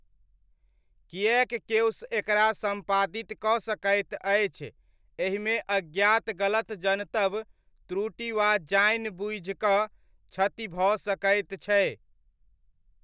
किएक केओ एकरा सम्पादित कऽ सकैत अछि, एहिमे अज्ञात गलत जनतब, त्रुटि वा जानि बुझिकऽ क्षति भऽ सकैत छै।